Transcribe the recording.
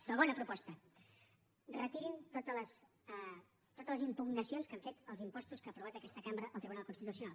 segona proposta retirin totes les impugnacions que han fet als impostos que ha aprovat aquesta cambra al tribunal constitucional